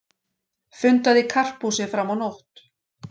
Fundað í Karphúsi fram á nótt